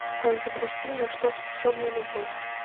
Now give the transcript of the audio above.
запусти на что способна любовь